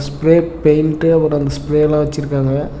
Grey paint அப்ரோ அந்த ஸ்ப்ரேலா வெச்சிருக்காங்க.